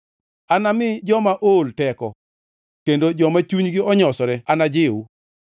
Anami joma ool teko kendo joma chunygi onyosore anajiw.”